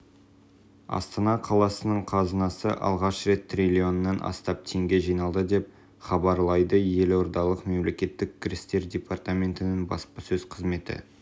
астана қаласының қазынасына алғаш рет триллионнан астам теңге жиналды деп хабарлайдыелордалық мемлекеттік кірістер департаментінің баспасөз қызметі